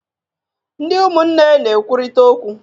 Ndị umụnne na-ekwurịta okwu.